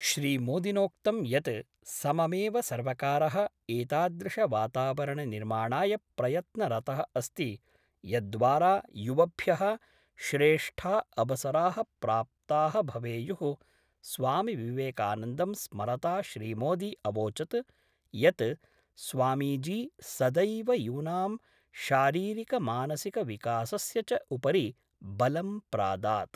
श्रीमोदिनोक्तं यत् सममेव सर्वकारः एतादृशवातावरणनिर्माणाय प्रयत्नरतः अस्ति यद्द्वारा युवभ्यः श्रेष्ठा अवसराः प्राप्ताः भवेयुः स्वामिविवेकानन्दं स्मरता श्रीमोदी अवोचत् यत् स्वामीजी सदैव यूनां शारीरिकमानसिकविकासस्य च उपरि बलं प्रादात्।